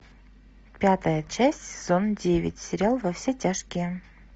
пятая часть сезон девять сериал во все тяжкие